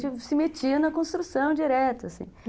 E a gente se metia na construção direto, assim.